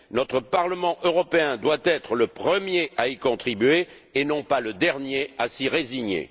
Notre Parlement européen doit être le premier à y contribuer et non pas le dernier à s'y résigner.